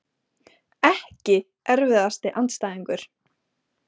EKKI erfiðasti andstæðingur?